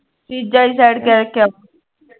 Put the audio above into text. ਚੀਜ਼ਾਂ ਹੀ side ਕਰਕੇ